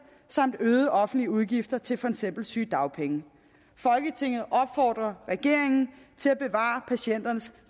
samt øgede offentlige udgifter til for eksempel sygedagpenge folketinget opfordrer regeringen til at bevare patienternes